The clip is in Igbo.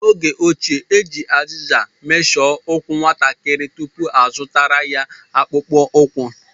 N'oge ochie, e ji azịza meshọ ụkwụ nwatakịrị tupu azụtara ya akpụkpọ ụkwụ.